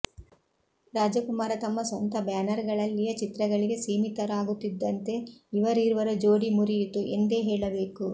ರಾಜಕುಮಾರ ತಮ್ಮ ಸ್ವಂತ ಬ್ಯಾನರ್ ಗಳಲ್ಲಿಯ ಚಿತ್ರಗಳಿಗೆ ಸೀಮಿತರಾಗುತ್ತಿದ್ದಂತೆ ಇವರೀರ್ವರ ಜೋಡಿ ಮುರಿಯಿತು ಎಂದೇ ಹೇಳಬೇಕು